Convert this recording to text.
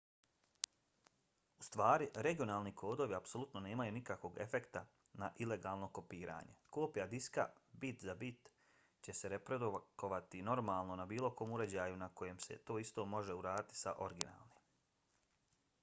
u stvari regionalni kodovi apsolutno nemaju nikakvog efekta na ilegalno kopiranje; kopija diska bit-za-bit će se reprodukovati normalno na bilo kom uređaju na kojem se to isto može uraditi sa originalnim